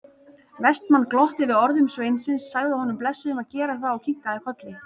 Vestmann glotti við orðum sveinsins, sagði honum blessuðum að gera það og kinkaði kolli.